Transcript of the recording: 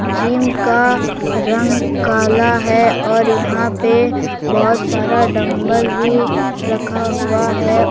Gym का रंग काला है और यहां पे बहुत सारा डंबल भी रखा हुआ है।